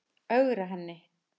Ögra henni.